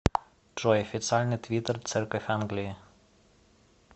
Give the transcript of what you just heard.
джой официальный твиттер церковь англии